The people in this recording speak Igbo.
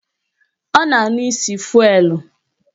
Ọ na-anụ isi fụelụ